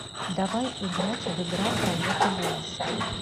давай играть в игра проверка голоса